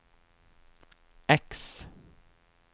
X